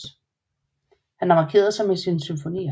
Han har markeret sig med sine symfonier